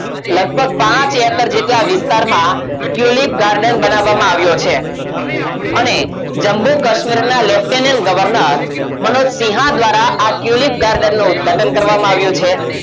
લગભગ પાંચ acres જેટલા વિસ્તારમાં tulip garden બનાવવામાં આવ્યો છે અને જમ્મુ કાશ્મીરના Lieutenant Governor મનોજસિંહ દ્વારા આ tulip garden નો ઉદઘાટન કરવામાં આવ્યું છે